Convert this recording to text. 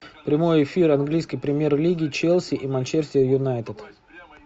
прямой эфир английской премьер лиги челси и манчестер юнайтед